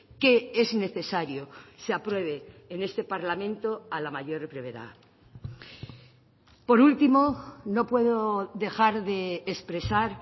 que es necesario se apruebe en este parlamento a la mayor brevedad por último no puedo dejar de expresar